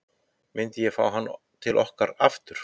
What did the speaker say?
Myndi ég fá hann til okkar aftur?